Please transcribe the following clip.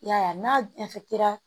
I y'a ye n'a